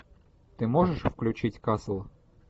ты можешь включить касл